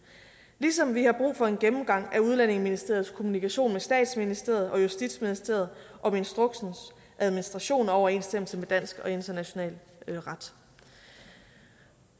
ligesom vi har brug for en gennemgang af udlændingeministeriets kommunikation med statsministeriet og justitsministeriet om instruksens administration og overensstemmelse med dansk og international ret